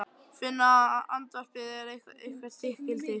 Finna að andvarpið er eitthvert þykkildi.